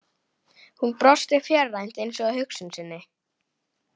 Hún brosti fjarrænt, eins og að hugsun sinni.